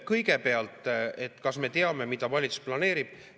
Kõigepealt, et kas me teame, mida valitsus planeerib?